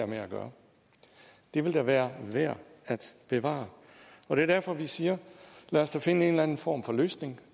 med at gøre den vil da være værd at bevare og det er derfor vi siger lad os da finde en eller anden form for løsning